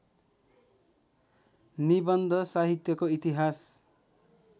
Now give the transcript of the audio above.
निबन्ध साहित्यको इतिहास